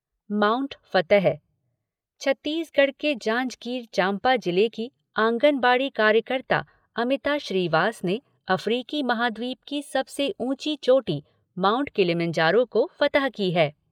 Mount फ़तह छत्तीसगढ़ के जांजगीर चांपा जिले की आंगनबाड़ी कार्यकर्ता अमिता श्रीवास ने अफ्रीकी महाद्वीप की सबसे ऊंची चोटी माउंट किलिमंजारो को फ़तह की है।